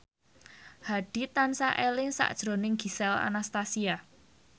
Hadi tansah eling sakjroning Gisel Anastasia